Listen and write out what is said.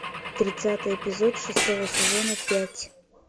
тридцатый эпизод шестого сезона пять